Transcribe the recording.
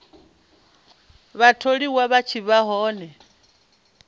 vhatholiwa vha tshi vha hone